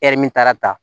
min taara ta